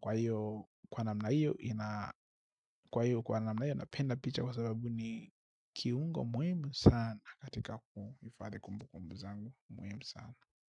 kwa hiyo kwa namna hiyo napenda picha kwa sababu ni kiungo muhimu sana katika kuifadhi kumbu kumbu zangu muhimu sana.